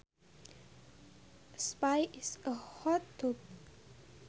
A spa is a hot tub